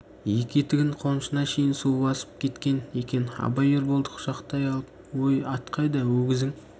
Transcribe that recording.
екі етігін қонышына шейін су басып кеткен екен абай ерболды құшақтай алып өй ат қайда өгізің